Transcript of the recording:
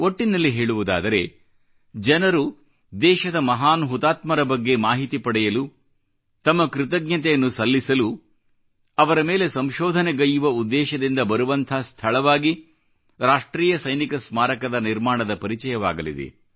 ಒಟ್ಟಿನಲ್ಲಿ ಹೇಳುವುದಾದರೆ ಜನರು ದೇಶದ ಮಹಾನ್ ಹುತಾತ್ಮರ ಬಗ್ಗೆ ಮಾಹಿತಿ ಪಡೆಯಲು ತಮ್ಮ ಕೃತಜ್ಞತೆಯನ್ನು ಸಲ್ಲಿಸಲು ಅವರ ಮೇಲೆ ಸಂಶೋಧನೆಗೈಯ್ಯುವ ಉದ್ದೇಶದಿಂದ ಬರುವಂಥ ಸ್ಥಳವಾಗಿ ರಾಷ್ಟ್ರೀಯ ಸೈನಿಕ ಸ್ಮಾರಕದ ನಿರ್ಮಾಣದ ಪರಿಚಯವಾಗಲಿದೆ